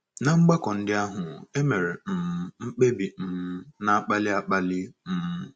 Ná mgbakọ ndị ahụ, e mere um mkpebi um na - akpali akpali um.